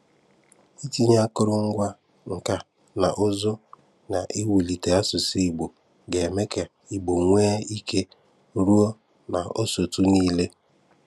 Itinye àkòrò ngwa nka na ùzù́ n’iwulite asụ̀sụ́ Ìgbò ga-eme ka Ìgbò nwee ike rùo n’ósòtù niile.